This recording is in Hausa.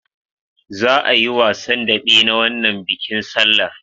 Za'a yi wasan daɓe na wannan bikin sallar.